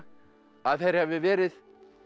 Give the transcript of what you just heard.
að þeir hafi verið